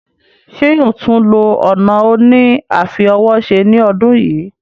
Ṣé yóò tún lo ọ̀nà òní àfi ọwọ́ se ní ọdún yìí?